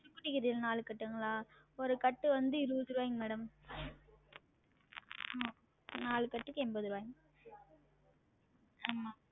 நாலு கட்டுங்களா? ஒரு கட்டு வந்து இருவது ருவாய்ங்க madam உம் நாலு கட்டுக்கு என்பது ருவாய்ங்க உம்